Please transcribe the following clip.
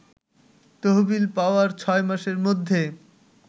তহবিল পাওয়ার ৬ মাসের মধ্যে